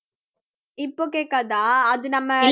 இப்போ கேக்காதா அது நம்ம